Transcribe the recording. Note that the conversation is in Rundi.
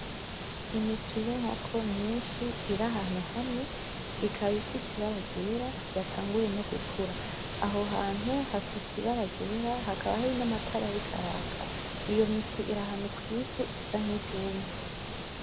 Imiswi y'inkoko nyinshi irahantu hamwe ikaba ifise ibara ryera yatanguye no gukura. Aho hantu hafise ibara ryera hakaba hari n'amatara ariko araka. Iyo miswi irahantu kw'ivu isa nk'iryumye.